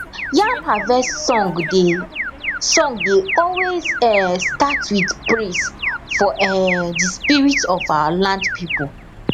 yam harvest song dey song dey always um start with praise for um the spirit of our land people